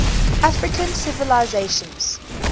african civilizations